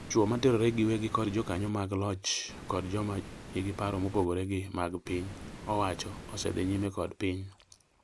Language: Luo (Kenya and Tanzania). chwo materore giwegi kod jokanyo mag loch kod joma nigi paro mopogore gi mag piny owacho osedhi nyime dok piny.